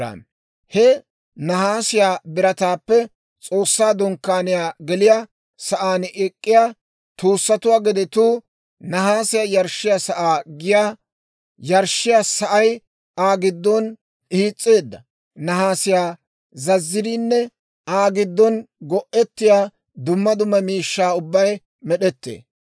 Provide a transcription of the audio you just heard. He nahaasiyaa birataappe S'oossaa Dunkkaaniyaa geliyaa sa'aan ek'k'iyaa tuussatuwaa gedetuu, nahaasiyaa yarshshiyaa sa'aa giyaa yarshshiyaa sa'ay, Aa giddon hiis's'eedda nahaasiyaa zazziriinne Aa giddon go'ettiyaa dumma dumma miishshaa ubbay med'ettee.